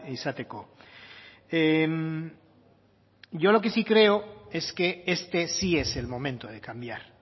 izateko yo lo que sí creo es que este sí es el momento de cambiar